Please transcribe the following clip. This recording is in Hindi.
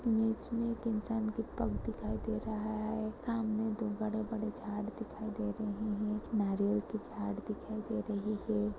इमेज मैं एक इंसान कि पग दिखाई दे रहा है सामने दो बड़े बड़े झाड़ दिखाई दे रहे है नारियल की झाड़ दिखाई दे रही है।